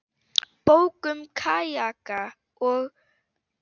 Bók um kajaka og.